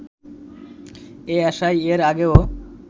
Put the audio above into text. এই আশায় এর আগেও